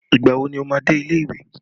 Ìgbà wo ni ó máa dé ilé ìwé